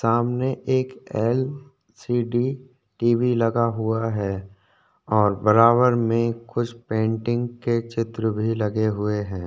सामने एक LCD TV लगा हुआ है और बराबर में कुछ पेंटिंग के चित्र भी लगे हुए है।